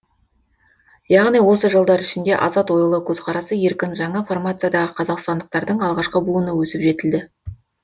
яғни осы жылдар ішінде азат ойлы көзқарасы еркін жаңа формациядағы қазақстандықтардың алғашқы буыны өсіп жетілді